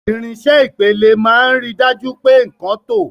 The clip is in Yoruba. Irinṣẹ́ Ìpele máa ń rí i dájú pé nkan tọ́.